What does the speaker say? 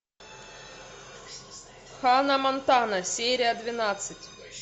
ханна монтана серия двенадцать